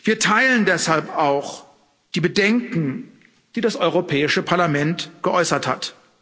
Wir teilen deshalb auch die Bedenken, die das Europäische Parlament geäußert hat.